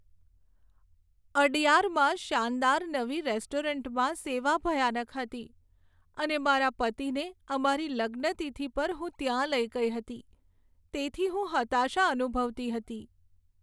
અડયારમાં શાનદાર નવી રેસ્ટોરન્ટમાં સેવા ભયાનક હતી અને મારા પતિને અમારી લગ્નતિથિ પર હું ત્યાં લઈ ગઈ હતી, તેથી હું હતાશા અનુભવતી હતી.